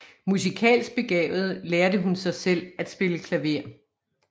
Musikalsk begavet lærte hun sig selv at spille klaver